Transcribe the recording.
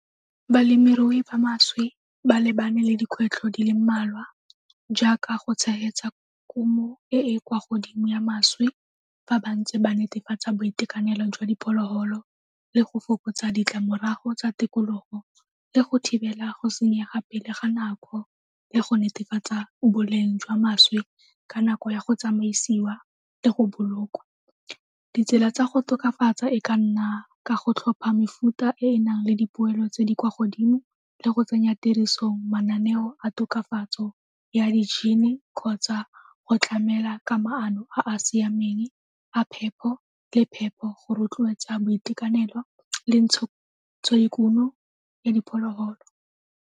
Balemirui ba mašwi ba lebane le dikgwetlho di le mmalwa jaaka go tshegetsa kumo e e kwa godimo ya mašwi fa ba ntse ba netefatsa boitekanelo jwa diphologolo le go fokotsa ditlamorago tsa tikologo, le go thibela go senyega pele ga nako le go netefatsa boleng jwa mašwi ka nako ya go tsamaisiwa le go bolokwa. Ditsela tsa go tokafatsa e ka nna ka go tlhopha mefuta e e nang le dipoelo tse di kwa godimo le go tsenya tirisong mananeo a tokafatso ya kgotsa go tlamela ka maano a a siameng a phepo le phepo go rotloetsa boitekanelo le ya diphologolo.